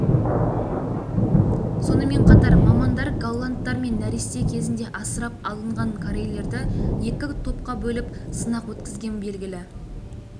сонымен қатар мамандар голландтар мен нәресте кезінде асырап алынған корейлерді екі топқа бөліп сынақ өткізген белгілі